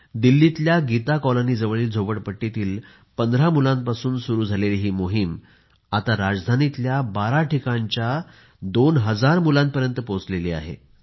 दिल्लीतल्या गीता कॉलनी जवळील झोपडपट्टीतील 15 मुलांपासून सुरू झालेली ही मोहीम आता राजधानीतल्या 12 ठिकाणच्या 2 हजार मुलांपर्यंत पोहोचली आहे